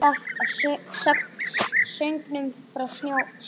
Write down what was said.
Líka af söngnum frá sjónum.